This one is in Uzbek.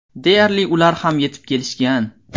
Deyarli ular ham yetib kelishgan.